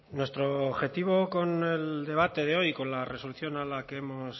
nuestro objetivo con el debate de hoy con la resolución a la que hemos